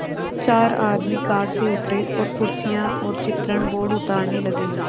चार आदमी कार से उतरे और कुर्सियाँ और चित्रण बोर्ड उतारने लगे